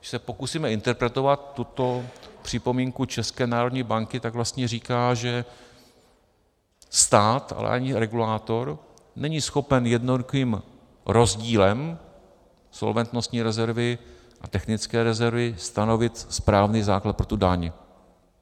Když se pokusíme interpretovat tuto připomínku České národní banky, tak vlastně říká, že stát, ale ani regulátor není schopen jednoduchým rozdílem solventnostní rezervy a technické rezervy stanovit správný základ pro tu daň.